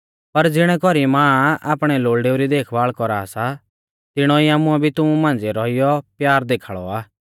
पर ज़िणै कौरी मां आपणै लोल़डेऊ री देखभाल़ कौरा सा तिणौ ई आमुऐ भी तुमु मांझ़िऐ रौइयौ प्यार देखाल़ौ आ